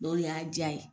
N'o de y'a diya ye